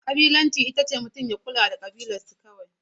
Ƙabilanci ita ce mutum ya kula da kabilarsu kawai.